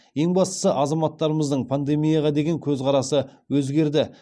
ең бастысы азаматтарымыздың пандемияға деген көзқарасы өзгерді